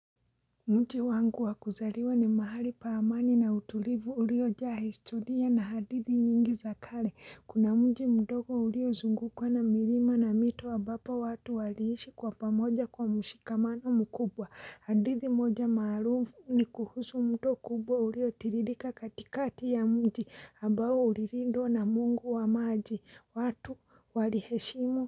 Mji wangu wa kuzaliwa ni mahali pa amani na utulivu uliojaa historia na hadithi nyingi za kale. Kuna mji mdogo uliozungukwa na milima na mito ambapo watu waliishi kwa pamoja kwa mshikamano mkubwa. Hadithi moja maarufu ni kuhusu mto kubwa uliotiririka katikati ya mji ambao ulilindwa na mungu wa maji. Watu waliheshimu.